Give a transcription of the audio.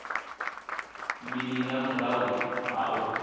mini nga murahu ha u